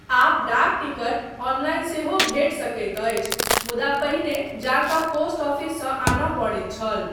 आब डाक ticket online सेहो भेटि सकैत अछि मुदा पहिने जा कऽ पोस्ट ऑफिससँ आनय पड़ैत छल।